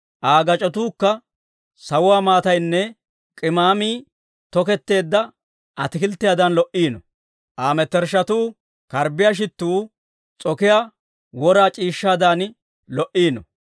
Aa gac'otuukka sawuwaa maataynne, k'imaamii toketteedda atakilttiyaadan lo"iino; Aa mettershshatuu karbbiyaa shittuu s'okiyaa wora c'iishshaadan lo"iino.